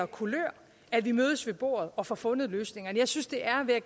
kulør at vi mødes ved bordet og får fundet løsningerne jeg synes det er vil